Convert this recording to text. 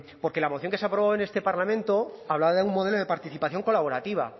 porque la moción se aprobó en este parlamento hablaba de un modelo de participación colaborativa